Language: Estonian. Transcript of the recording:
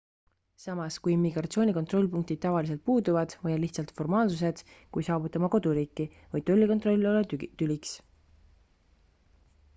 samas kui immigratsiooni kontrollpunktid tavaliselt puuduvad või on lihtsalt formaalsused kui saabute oma koduriiki võib tollikontroll olla tüliks